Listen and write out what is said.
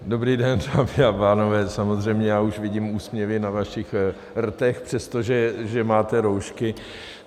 Dobrý den, dámy a pánové, samozřejmě já už vidím úsměvy na vašich rtech, přestože máte roušky.